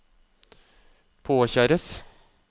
påkjæres